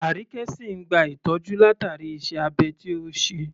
Arike sìn ìn gba ìtọ́jú látàrí iṣẹ́ abẹ tí ó ṣe.